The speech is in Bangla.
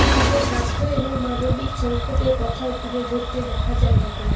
তীব্র স্বাস্থ্য এবং মানবিক সংকটের কথাও তুলে ধরতে দেখা যায় তাকে